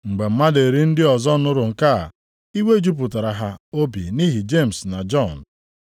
Mgbe mmadụ iri ndị ọzọ nụrụ nke a, iwe jupụtara ha obi nʼihi Jemis na Jọn.